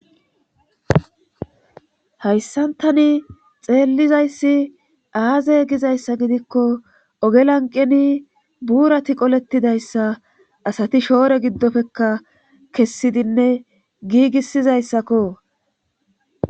hayssan tani xeellizayssi aaze gizayssa gidikko ogelanqeni buurati qolettidayssa asati shoore giddofekka kessidinne giigisizayssakko